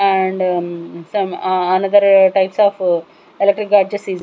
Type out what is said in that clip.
And some ah another types of electric gadgets is --